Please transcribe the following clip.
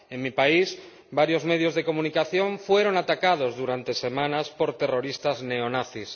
En mi país, varios medios de comunicación fueron atacados durante semanas por terroristas neonazis.